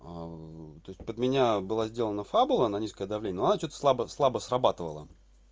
то есть под меня была сделана фабула на низкое давление но что-то слабо слабо срабатывала